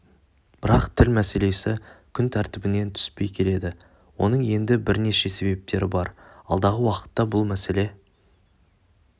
бірақ тіл мәселесі күн тәртібінен түспей келеді оның енді бірнеше себептері бар алдағы уақытта бұл мәселе